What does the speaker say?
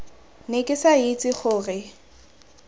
ne ke sa itse gore